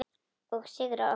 Og sigrar oftast.